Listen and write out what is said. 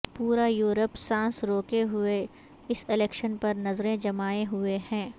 پورا یورپ سانس روکے ہوئے اس الیکشن پر نظریں جمائے ہوئے ہیں